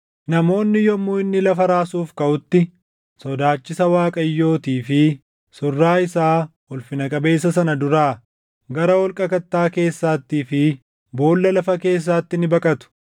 Namoonni yommuu inni lafa raasuuf kaʼutti, sodaachisa Waaqayyootii fi surraa isaa ulfina qabeessa sana duraa gara holqa kattaa keessaattii fi boolla lafa keessaatti ni baqatu.